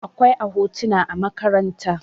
akwai a hotuna a makaranta